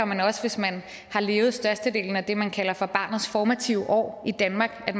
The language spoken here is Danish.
men også hvis man har levet størstedelen af det man kalder for barnets formative år i danmark